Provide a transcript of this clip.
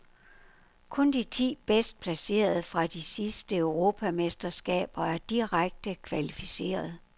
Kun de ti bedst placerede fra de sidste europamesterskaber er direkte kvalificeret.